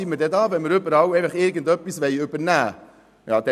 Wofür sind wir denn hier, wenn man einfach überall irgendetwas übernehmen will?